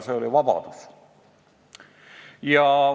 See oli "vabadus".